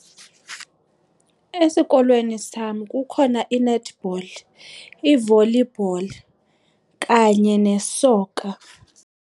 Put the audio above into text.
Esikolweni sam kukhona i-netball i-volleyball kanye ne-soccer.